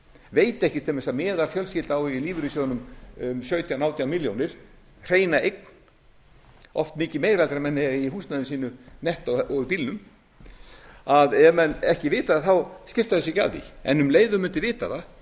veit ekki til dæmis að meðalfjölskylda á í lífeyrissjóðunum um sautján til átján milljónir hreina eign oft mikið meira þegar menn eiga í húsnæði sínu og í bílnum ef menn ekki vita það þá skipta þeir sér ekki af því en um leið og þeir mundu vita það